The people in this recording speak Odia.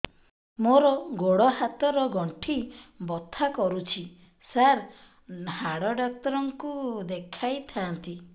ମୋର ଗୋଡ ହାତ ର ଗଣ୍ଠି ବଥା କରୁଛି ସାର ହାଡ଼ ଡାକ୍ତର ଙ୍କୁ ଦେଖାଇ ଥାନ୍ତି